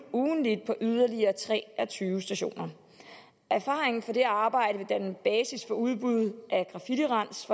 ugentligt på yderligere tre og tyve stationer erfaringen fra det arbejde vil danne basis for udbud af graffitirens